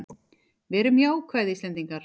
Verum jákvæð Íslendingar!